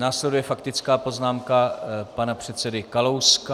Následuje faktická poznámka pana předsedy Kalouska.